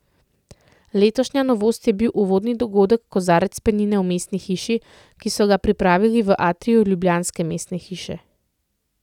Letošnja novost je bil uvodni dogodek Kozarec penine v Mestni hiši, ki so ga pripravili v atriju ljubljanske mestne hiše.